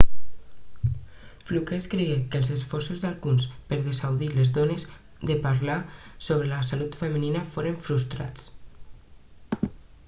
fluke escrigué que els esforços d'alguns per a dissuadir les dones de parlar sobre la salut femenina foren frustrats